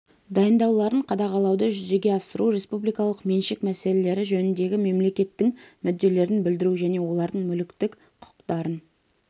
дайындауларын қадағалауды жүзеге асыру республикалық меншік мәселелері жөніндегі мемлекеттің мүдделерін білдіру және олардың мүліктік құқықтарын